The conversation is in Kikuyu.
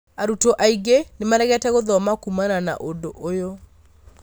arutwo aingĩ nĩmaregete gũthoma kumana na ũndũ ũyũ.